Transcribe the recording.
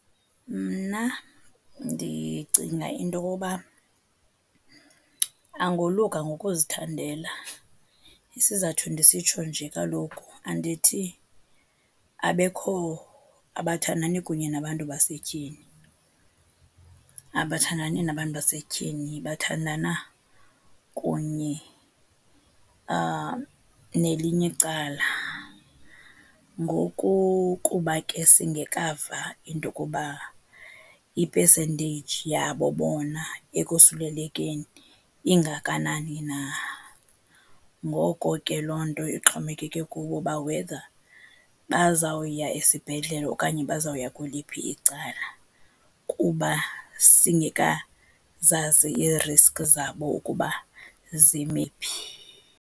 Mna ndicinga into okuba angoluka ngokuzithandela. Isizathu ndisitsho nje kaloku andithi abekho, abathandani kunye nabantu basetyhini, abathandani nabantu basetyhini bathandana kunye nelinye icala. Ngoku kuba ke singekava into okuba ipesenteyiji yabo bona ekosulelekeni ingakanani na. Ngoko ke loo nto ixhomekeke kubo uba whether bazawuya esibhedlele okanye bazawuya kweliphi icala, kuba singekazazi iiriski zabo ukuba zime phi.